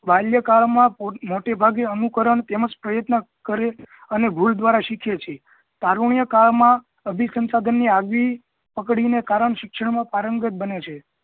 બાલ્યાકાળ માં મોટે ભાગે અનુકરણ તેમજ પ્રયત્ન કરે અને ભૂલ દ્વારા સીખે છે તરુંય કાળ મા અભી સંસાધન ની આગવી પકડીને કારણ શિક્ષણ માં પારંગત બને છે